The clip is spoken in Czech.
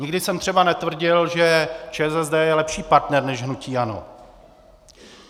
Nikdy jsem třeba netvrdil, že ČSSD je lepší partner než hnutí ANO.